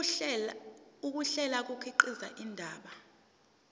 ukuhlela kukhiqiza indaba